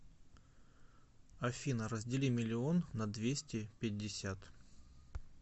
афина раздели миллион на двести пятьдесят